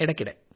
ഇടയ്ക്കിടെ